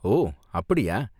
ஓ அப்படியா?